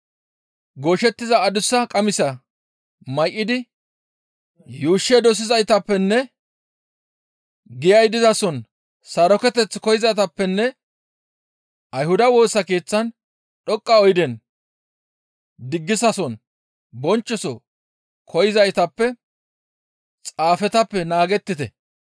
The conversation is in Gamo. «Gooshettiza adussa qamisa may7idi yuushshe dosizaytappe giyay dizason saroketeth koyzaytappenne Ayhuda Woosa Keeththan dhoqqa oydenne diggisason bonchchoso koyza xaafetappe naagettite.